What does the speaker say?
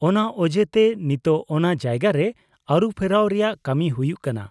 -ᱚᱱᱟ ᱚᱡᱮ ᱛᱮ ᱱᱤᱛᱳᱜ ᱚᱱᱟ ᱡᱟᱭᱜᱟ ᱨᱮ ᱟᱹᱨᱩᱯᱷᱮᱨᱟᱣ ᱨᱮᱭᱟᱜ ᱠᱟᱹᱢᱤ ᱦᱩᱭᱩᱜ ᱠᱟᱱᱟ ᱾